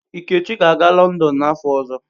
Ikechi ga-aga Lọndon n'afọ ọzọ.